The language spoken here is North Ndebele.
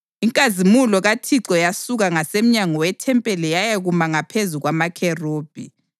Inkazimulo kaThixo yasuka ngasemnyango wethempeli yayakuma ngaphezu kwamakherubhi.